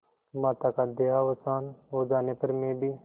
माता का देहावसान हो जाने पर मैं भी